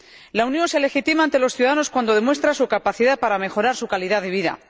La Unión se legitima ante los ciudadanos cuando demuestra su capacidad para mejorar su calidad de vida.